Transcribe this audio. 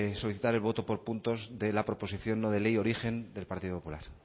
solicitar el voto por puntos de la proposición no de ley origen del partido popular